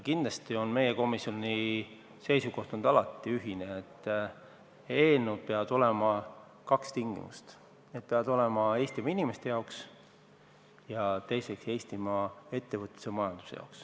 Kindlasti on meie komisjoni seisukoht olnud alati ühene, et eelnõude puhul peab olema täidetud kaks tingimust: need peavad olema Eestimaa inimeste jaoks ja teiseks, Eestimaa ettevõtluse ja majanduse jaoks.